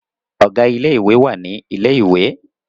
Ọ̀gá ilé ìwé wà ní ilẹ̀ ìwé